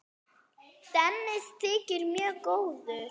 Dennis þykir mjög góður?